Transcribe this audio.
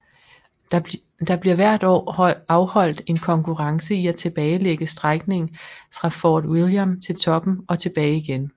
Der bliver hvert år afholdt en konkurrence i at tilbagelægge strækningen fra Fort William til toppen og tilbage igen